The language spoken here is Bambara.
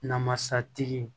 Namasatigi